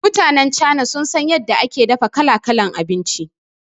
Mutanan Chaina sun san yadda aka dafa kala-kalan abinci